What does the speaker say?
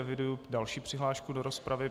Eviduji další přihlášku do rozpravy.